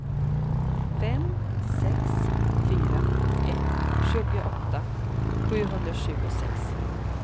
fem sex fyra ett tjugoåtta sjuhundratjugosex